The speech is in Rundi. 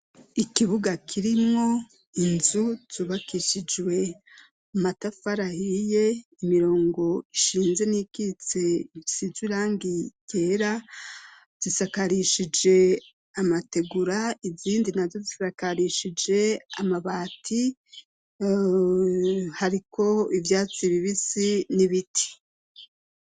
Ikibuga kirimwo inzu zubakishijwe amatafari ahiye, imirongo ishinze n'iyikitse isize irangi ryera, zisakarishije amategura, izindi nazo zisakarishije amabati, hariko ivyatsi bibisi n'ibiti.